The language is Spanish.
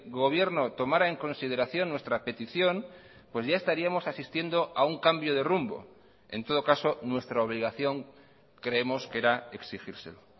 gobierno tomará en consideración nuestra petición pues ya estaríamos asistiendo a un cambio de rumbo en todo caso nuestra obligación creemos que era exigírselo